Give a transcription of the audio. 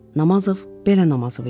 Namazov belə Namazov idi.